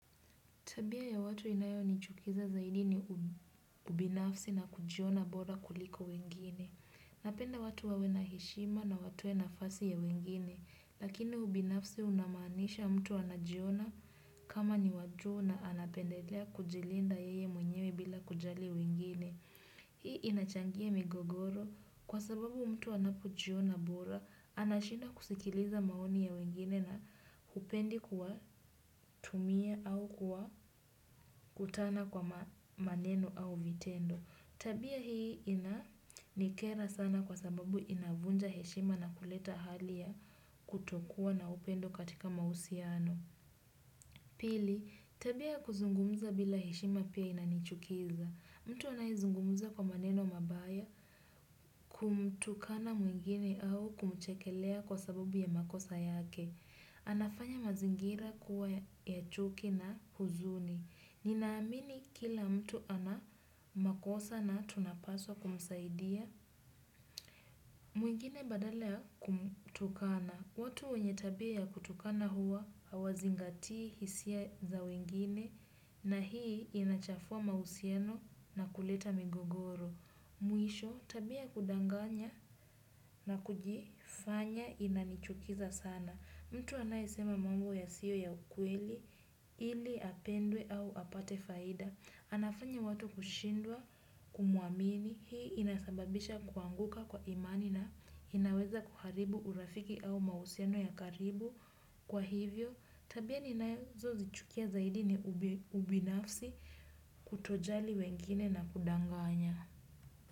Tabia ya watu inayonichukiza zaidi ni ubinafsi na kujiona bora kuliko wengine. Napenda watu wawe na heshima na watoe nafasi ya wengine. Lakini ubinafsi unamaanisha mtu anajiona kama ni wajuu na anapendelea kujilinda yeye mwenyewe bila kujali wengine. Hii inachangia migogoro kwa sababu mtu anapojiona bora, anashindwa kusikiliza maoni ya wengine na hupendi kuwatumia au kuwakutana kwa maneno au vitendo. Tabia hii inanikera sana kwa sababu inavunja heshima na kuleta hali ya kutokuwa na upendo katika mahusiano. Pili, tabia ya kuzungumuza bila heshima pia inanichukiza. Mtu anayezungumuza kwa maneno mabaya kumtukana mwingine au kumchekelea kwa sababu ya makosa yake. Anafanya mazingira kuwa ya chuki na huzuni. Ninaamini kila mtu ana makosa na tunapaswa kumsaidia. Mwingine badala kumtukana. Watu wenye tabia ya kutukana huwa hawazingati hisia za wengine na hii inachafua mahusiano na kuleta migogoro. Mwisho tabia ya kudanganya na kujifanya inanichukiza sana. Mtu anayesema mambo yasiyo ya ukweli ili apendwe au apate faida. Anafanya watu kushindwa, kumuamini, hii inasababisha kuanguka kwa imani na inaweza kuharibu urafiki au mahusiano ya karibu kwa hivyo. Tabia ninazozichukia zaidi ni ubinafsi kutojali wengine na kudanganya.